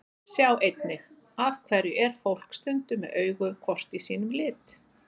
Sjá einnig: Af hverju er fólk stundum með augu hvort í sínum lit?